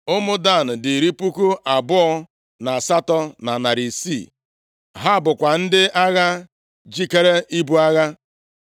Ụmụ Dan dị iri puku abụọ na asatọ, na narị isii. (28,600) Ha bụkwa ndị agha jikeere ibu agha.